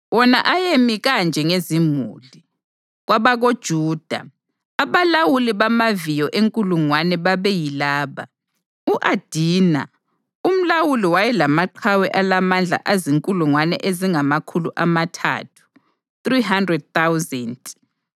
Wona ayemi kanje ngezimuli: KwabakoJuda, abalawuli bamaviyo enkulungwane babeyilaba: u-Adina umlawuli wayelamaqhawe alamandla azinkulungwane ezingamakhulu amathathu (300,000);